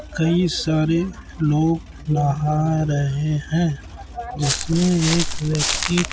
कई सारे लोग नहा रहे है जिसमें एक व्यक्ती--